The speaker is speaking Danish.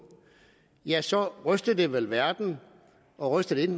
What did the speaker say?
ja så rystede det vel verden og rystede det